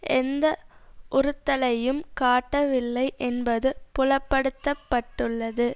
எந்த உறுத்தலையும் காட்டவில்லை என்பது புலப்படுத்துப்பட்டுள்ளது